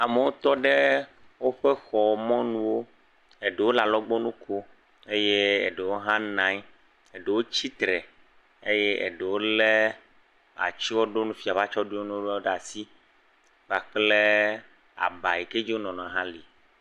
Amewo tɔ ɖe woƒe xɔ mɔnuwo, eɖewo le alɔgbɔnu kom, eye eɖewo hã nɔ anyi eye eɖewo tsitre, eye eɖewo lé atsyɔɖonu, fiawo ƒe atsyɔɖonuwo ɖe asi kpakple aba yike dzi wonɔna la hã le.